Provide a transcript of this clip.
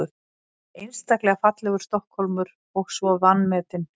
Einstaklega fallegur Stokkhólmur og svo vanmetinn.